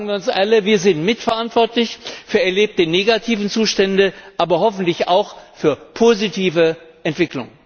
Sagen wir uns alle Wir sind mitverantwortlich für erlebte negative Zustände, aber hoffentlich auch für positive Entwicklungen.